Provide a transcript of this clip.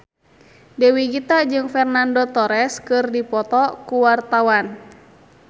Dewi Gita jeung Fernando Torres keur dipoto ku wartawan